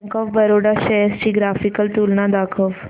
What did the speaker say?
bank of Baroda shares ची graphical तुलना दाखव